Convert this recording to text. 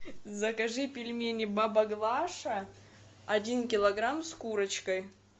закажи пельмени баба глаша один килограмм с курочкой